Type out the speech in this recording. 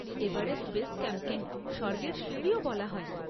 Everest base ক্যাম্পকে স্বর্গের সিঁড়িও বলা হয়।